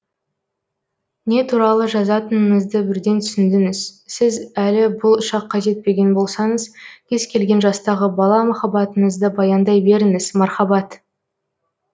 не туралы жазатыныңызды бірден түсіндіңіз сіз әлі бұл шаққа жетпеген болсаңыз кез келген жастағы бала махаббатыңызды баяндай беріңіз мархаббат